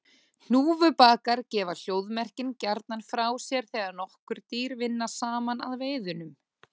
Hnúfubakar gefa hljóðmerkin gjarnan frá sér þegar nokkur dýr vinna saman að veiðunum.